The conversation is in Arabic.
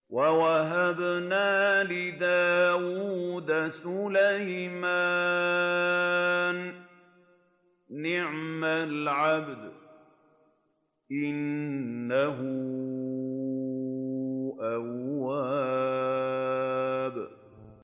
وَوَهَبْنَا لِدَاوُودَ سُلَيْمَانَ ۚ نِعْمَ الْعَبْدُ ۖ إِنَّهُ أَوَّابٌ